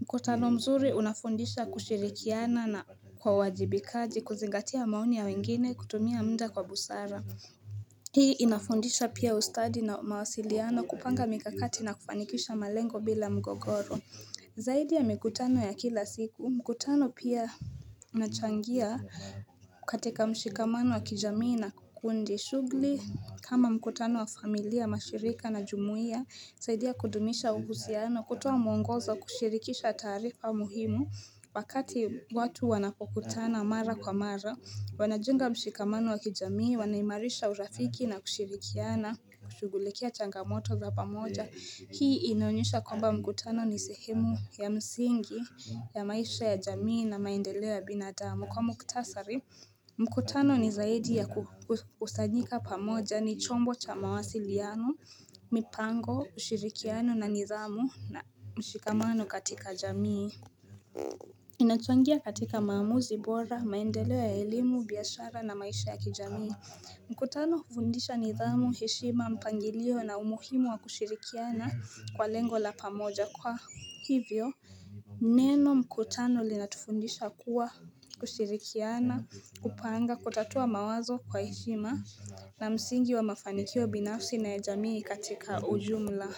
mkutano mzuri unafundisha kushirikiana na kwa uwajibikaji kuzingatia maoni ya wengine kutumia mda kwa busara Hii inafundisha pia ustadi na mawasiliano kupanga mikakati na kufanikisha malengo bila mgogoro Zaidi ya mikutano ya kila siku, mkutano pia unachangia katika mshikamano wa kijamii na kundi shugli kama mkutano wa familia mashirika na jumuia, zaidi ya kudumisha uhusiano, kutoa muongozo kushirikisha taarifa muhimu, vakati watu wanapokutana mara kwa mara, wanajenga mshikamano wa kijamii, wanaimarisha urafiki na kushirikiana, kushughulikia changamoto za pamoja. Hii inaonyesha kwamba mkutano ni sehemu ya msingi ya maisha ya jamii na maendeleo ya binadamu. Kwa muktasari, mkutano ni zaidi ya kukusanyika pamoja ni chombo cha mawasiliano, mipango, ushirikiano na nidhamu na mshikamano katika jamii. Inachangia katika maamuzi bora, maendeleo ya elimu, biashara na maisha ya kijamii. Mkutano hufundisha nidhamu heshima mpangilio na umuhimu wa kushirikiana kwa lengo la pamoja kwa hivyo Neno mkutano linatufundisha kuwa kushirikiana kupanga kutatua mawazo kwa heshima na msingi wa mafanikio binafsi na ya jamii katika ujumla.